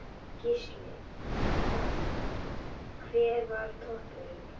Gísli: Hver var toppurinn?